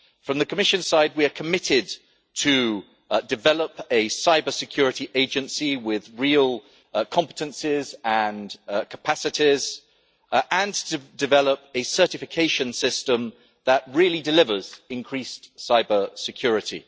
From the Commission side we are committed to develop a cybersecurity agency with real competences and capacities and to develop a certification system that really delivers increased cybersecurity.